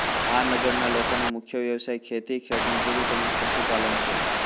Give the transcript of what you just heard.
આ નગરના લોકોનો મુખ્ય વ્યવસાય ખેતી ખેતમજૂરી તેમ જ પશુપાલન છે